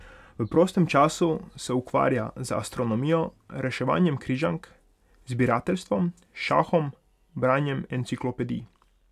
V prostem času se ukvarja z astronomijo, reševanjem križank, zbirateljstvom, šahom, branjem enciklopedij ...